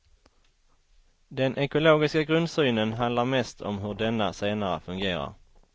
Den ekologiska grundsynen handlar mest om hur denna senare fungerar.